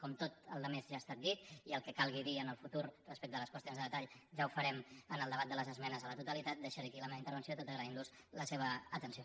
com tota la resta ja ha estat dita i el que calgui dir en el futur respecte a les qüestions de detall ja ho farem en el debat de les esmenes a la totalitat deixaré aquí la meva intervenció tot agraint los la seva atenció